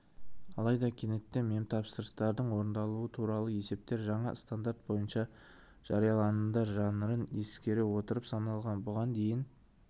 алайда кенеттен мемтапсырыстардың орындалуы туралы есептер жаңа стандарт бойынша жарияланымдар жанрын ескере отырып саналған бұған дейін